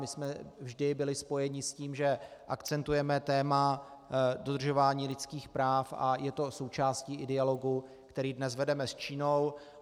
My jsme vždy byli spojeni s tím, že akcentujeme téma dodržování lidských práv, a je to i součástí dialogu, který dnes vedeme s Čínou.